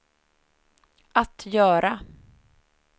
att göra